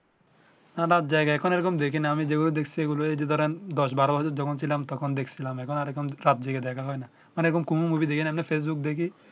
না রাত জেগে এখন এই রকম দেখি না আমি যে ভাবে দেখছি এই গুলো যদি ধরেন দশ বারো বছর যখন ছিলাম তখন দেখছিলাম এখন আর রাত জেগে দেখা হয় না মানে এই রকম কোন ম মুভি দেখি না এমনি ফেসবুক দেখি